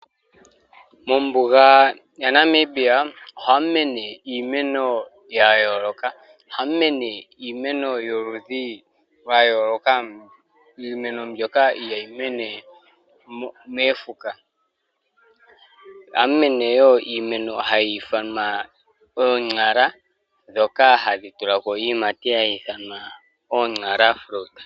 Mombunga ya Namibia ohamumene iimeno yayoloka, oha mu mene iimeno yoludhi lwayoloka iimeno mbyoka ihayimene mofuka, oha mu mene wo iimeno mbyoka hayithanwa o!nxala dhoka hadhi tula ko iiyimati hayithanwa n!xala fruit .